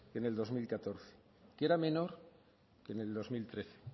que en el dos mil catorce que era menor que en el dos mil trece